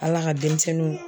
Ala ka denmisɛnninw